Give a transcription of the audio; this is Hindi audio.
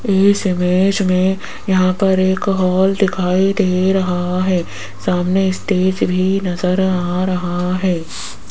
इस इमेज में यहां पर एक हॉल दिखाई दे रहा है सामने स्टेज भी नजर आ रहा है।